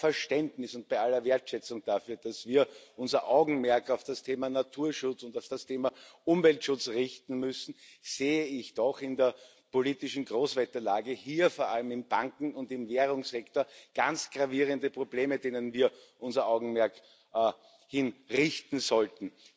Bei allem Verständnis und bei aller Wertschätzung dafür, dass wir unser Augenmerk auf das Thema Naturschutz und auf das Thema Umweltschutz richten müssen, sehe ich doch in der politischen Großwetterlage vor allem im Banken und im Währungssektor ganz gravierende Probleme, auf die wir unser Augenmerk richten sollten.